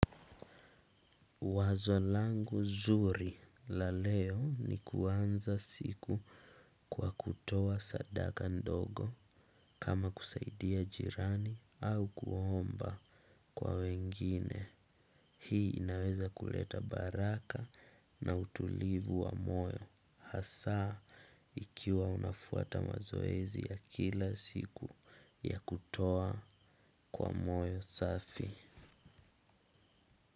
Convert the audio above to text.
Wazo langu zuri la leo ni kuanza siku kwa kutoa sadaka ndogo kama kusaidia jirani au kuhomba kwa wengine hii inaweza kuleta baraka na utulivu wa moyo hasaa ikiwa unafuata mazoezi ya kila siku ya kutoa kwa moyo safi.